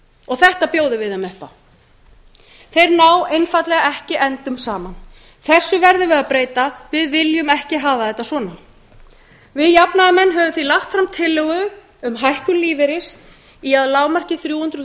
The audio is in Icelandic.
og þetta bjóðum við þeim upp á þeir ná einfaldlega ekki endum saman þessu verðum við að breyta við viljum ekki hafa þetta svona við jafnaðarmenn höfum því lagt fram tillögu um hækkun lífeyris í að lágmarki þrjú hundruð